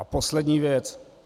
A poslední věc.